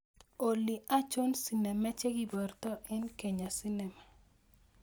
Olly achon sinema chegibarta en kenya cinema